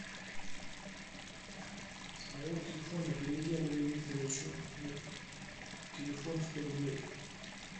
с моего телефона переведи андрею викторовичу на телефон сто рублей